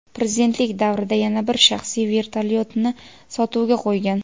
prezidentlik davrida yana bir shaxsiy vertolyotini sotuvga qo‘ygan.